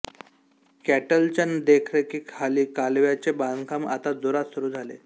कॅटलच्या देखरेखीखाली कालव्याचे बांधकाम आता जोरात सुरू झाले